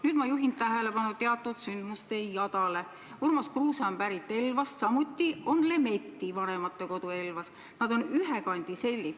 Nüüd ma juhin tähelepanu teatud sündmusejadale: Urmas Kruuse on pärit Elvast, samuti on Lemetti vanematekodu Elvas, nad on ühe kandi sellid.